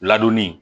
Ladonni